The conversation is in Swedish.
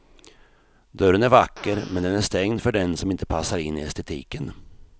Dörren är vacker, men den är stängd för den som inte passar in i estetiken.